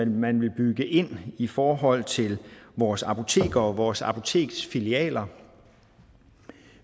man vil bygge ind i forhold til vores apoteker og vores apoteksfilialer